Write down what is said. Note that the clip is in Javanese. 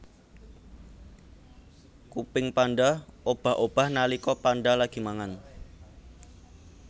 Kuping panda obah obah nalika panda lagi mangan